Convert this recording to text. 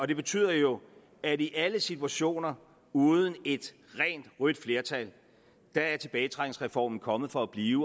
det betyder jo at i alle situationer uden et rent rødt flertal er tilbagetrækningsreformen kommet for at blive